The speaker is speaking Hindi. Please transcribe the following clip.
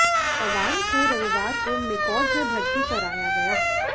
जवान को रविवार को मेकॉज में भर्ती कराया गया